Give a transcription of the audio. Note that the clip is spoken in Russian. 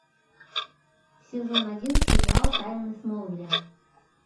сезон один сериал тайны смолвиля